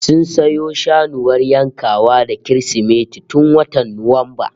Sun sayo saniyar yankawa da Kirsimeti tun watan Nuwamba